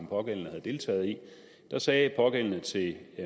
pågældende havde deltaget i da sagde pågældende til